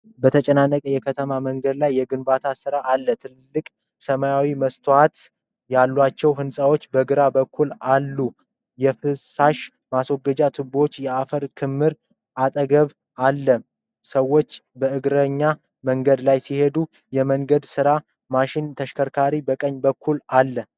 በተጨናነቀ የከተማ መንገድ ላይ የግንባታ ሥራ አለ። ትልልቅ ሰማያዊ መስታወት ያላቸው ሕንፃዎች በግራ በኩል አሉ። የፍሳሽ ማስወገጃ ቱቦዎችና የአፈር ክምር አጠገባቸው አለ። ሰዎች በእግረኛ መንገድ ላይ ሲሄዱ፣ የመንገድ ሥራ ማሽንና ተሽከርካሪዎች በቀኝ በኩል አሉ።